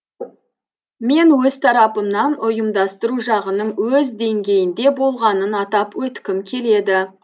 мен өз тарапымнан ұйымдастыру жағының өз деңгейінде болғанын атап өткім келеді